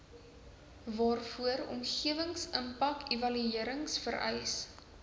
waarvoor omgewingsimpakevaluerings vereis